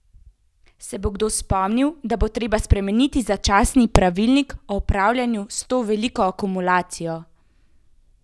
Se bo kdo spomnil, da bo treba spremeniti začasni pravilnik o upravljanju s to veliko akumulacijo?